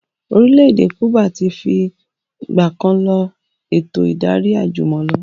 Orílẹ̀ èdè Kúbà tí fi ìgbàkan lọ eto ìdarí àjùmọ̀lo